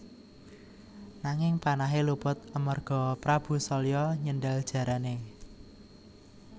Nanging panahé luput amarga Prabu Salya nyendhal jarané